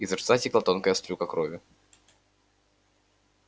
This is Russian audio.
изо рта текла тонкая струйка крови